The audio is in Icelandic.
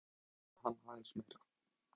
Björn: Það mætti salta hann aðeins meira?